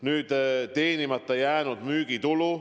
Nüüd, teenimata jäänud müügitulu.